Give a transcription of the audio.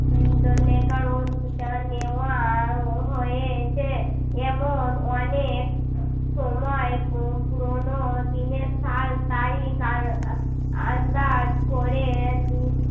. নেওয়া হয়েছে এমন অনেক সময় পু~ পুরনো দিনের সাল তারিখ আর আন্দাজ করে